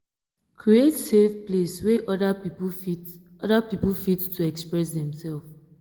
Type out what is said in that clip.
create safe place wey oda pipo fit oda pipo fit to express dem self